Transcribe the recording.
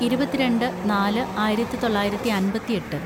ഇരുപത്തിരണ്ട് നാല് ആയിരത്തിതൊള്ളായിരത്തി അമ്പത്തിയെട്ട്‌